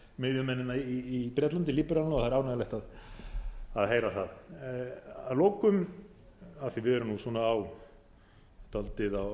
miðjumennina í bretlandi líberalana og það er ánægjulegt að heyra það að lokum af því að við erum dálítið á